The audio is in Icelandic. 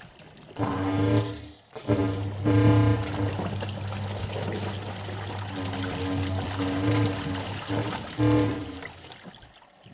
bær tilfinning að eiga von á barni með henni.